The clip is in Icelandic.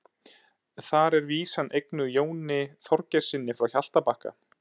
Þar er vísan eignuð Jóni Þorgeirssyni frá Hjaltabakka.